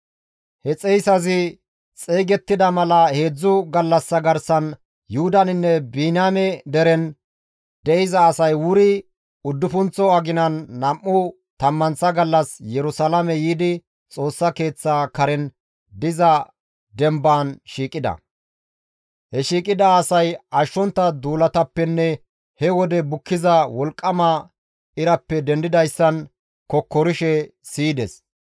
He xeyssazi xeygettida mala heedzdzu gallassa garsan Yuhudaninne Biniyaame deren de7iza asay wuri uddufunththo aginan nam7u tammanththa gallas Yerusalaame yiidi Xoossa Keeththa karen diza dembaan shiiqida; he shiiqida asay ashshontta duulatappenne he wode bukkiza wolqqama irappe dendidayssan kokkorishe siyides.